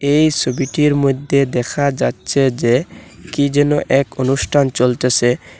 এই সবিটির মদ্যে দেখা যাচ্ছে যে কী যেন এক অনুষ্ঠান চলতেসে।